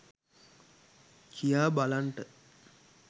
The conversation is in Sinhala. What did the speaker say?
කියා බලන්ට.